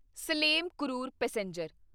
Salem Karur passenger